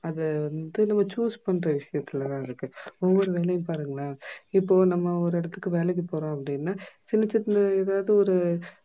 அதா வந்து நம்ப choose பண்ணுற விஷயத்துலதா இருக்கு. ஓவொரு வேலையும் பாருங்கலா இப்போ நம்ப ஒரு எடத்துக்கு வேளைக்கு போறோம் அப்டினா சின்ன சின்ன ஏதாது ஒரு